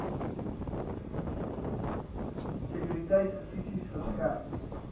sekuriteit fisies verskerp